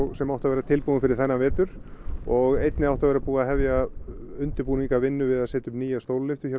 sem átti að vera tilbúin fyrir þennan vetur og einnig átti að vera búið að hefja undirbúning að vinnu við að setja upp nýja stólalyftu á